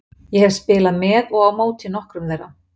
Ég hef spilað með og á móti nokkrum þeirra.